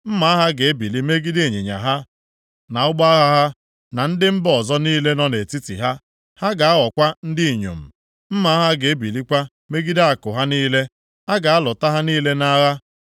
Mma agha ga-ebili megide ịnyịnya ha, na ụgbọ agha ha, na ndị mba ọzọ niile nọ nʼetiti ha. Ha ga-aghọkwa ndị inyom. Mma agha ga-ebilikwa megide akụ ha niile. A ga-alụta ha niile nʼagha.